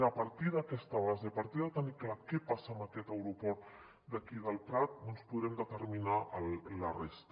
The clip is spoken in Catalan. a partir d’aquesta base a partir de tenir clar què passa amb aquest aeroport d’aquí del prat doncs podrem determinar la resta